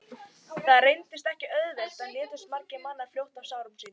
það reyndist ekki auðvelt og létust margir mannanna fljótt af sárum sínum